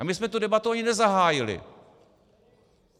A my jsme tu debatu ani nezahájili.